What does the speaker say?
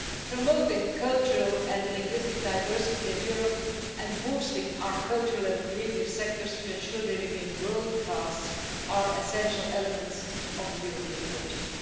Promoting cultural and linguistic diversity in Europe and boosting our cultural and creative sectors to ensure they remain world class are essential elements of the European project.